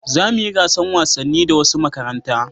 Za mu yi gasan wasanni da wasu makaranta